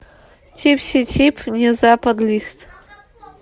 типси тип не западлист